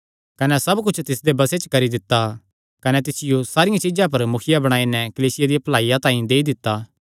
कने सब कुच्छ तिसदे बसे च करी दित्ता कने तिसियो सारियां चीज्जां पर मुखिया बणाई नैं कलीसिया दिया भलाईया तांई देई दित्ता